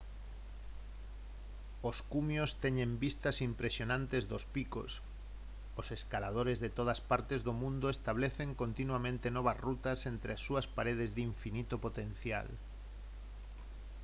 os cumios teñen vistas impresionantes dos picos os escaladores de todas partes do mundo establecen continuamente novas rutas entre as súas paredes de infinito potencial